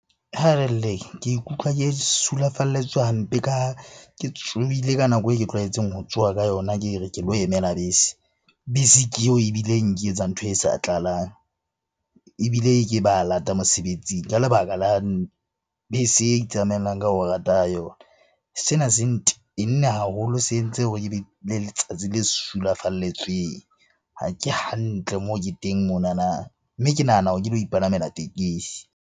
Ke ikutlwa ke sulafalletswe hampe ka ha ke tsohile ka nako e ke tlwaetseng ho tsoha ka yona ke re ke lo emela bese. Bese ke eo ebileng e nketsa ntho e sa tlalang, ebile ke ba lata mosebetsing ka lebaka la bese e itsamaelang ka ho rata yona. Sena se ntenne haholo, se entse hore ke be le letsatsi le sulafalletsweng. Ha ke hantle moo ke teng monana, mme ke nahana hore ke lo ipalamela tekesi.